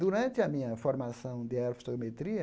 Durante a minha formação de aerofotogrametria,